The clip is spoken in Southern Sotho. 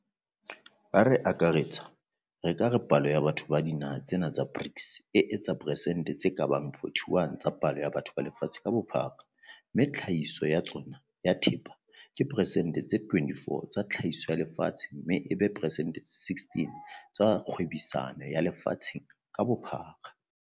Ha re akaretsa, re ka re palo ya batho ba dinaha tsena tsa BRICS e etsa persente tse ka bang 41 tsa palo ya batho ba lefatshe ka bophara mme tlhahiso ya tsona ya thepa ke persente tse 24 tsa tlhahiso ya lefatshe mme e be persente tse 16 tsa kgwebisano ya lefa tsheng ka bophara.